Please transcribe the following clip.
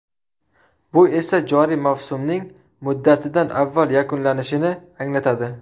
Bu esa joriy mavsumning muddatidan avval yakunlanishini anglatadi.